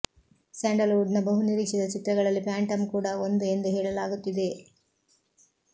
sandal wood ನ ಬಹುನಿರೀಕ್ಷಿತ ಚಿತ್ರಗಳಲ್ಲಿ ಫ್ಯಾಂಟಮ್ ಕೂಡ ಒಂದು ಎಂದು ಹೇಳಲಾಗುತ್ತಿದೆ